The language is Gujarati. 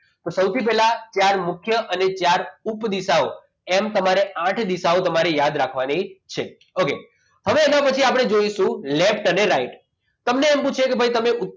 તો સૌથી પહેલા ચાર મુખ્ય અને ચાર મુખ્ય અને ચાર મુખ્ય દિશાઓ આઠ દિવસ તમારી યાદ રાખવાની છે okay હવે એના પછી આપણે જોઈશું left અને right તમને એમ થશે કે ભાઈ તમે ઉત્તર